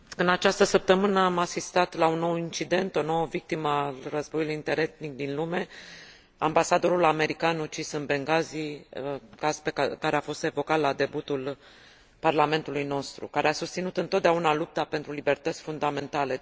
În această săptămână am asistat la un nou incident, o nouă victimă a războiului interetnic din lume, ambasadorul american ucis în Benghazi, caz care a fost evocat la debutul ședinței Parlamentului nostru, care a susținut întotdeauna lupta pentru libertăți fundamentale.